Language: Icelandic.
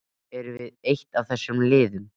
Erum við eitt af þessum liðum?